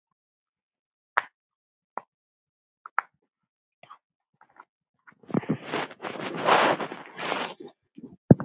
Það má gera svona